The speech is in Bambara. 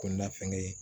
Ko na fɛn gɛ